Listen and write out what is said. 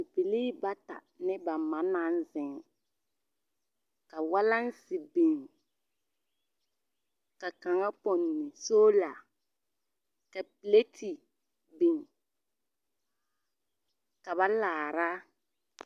Bibilee bata ne ba ma naŋ ziŋ ka walaŋse biŋ ka kaŋa pɔnne soola ka pilete biŋ ka ba laara.